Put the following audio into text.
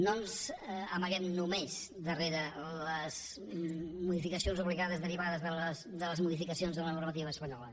no ens amaguem només darrere les modificacions obligades derivades de les modificacions en la normativa espanyola